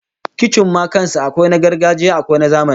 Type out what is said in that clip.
Kicin ma kan sa akwai na gargajiya akwai na zamani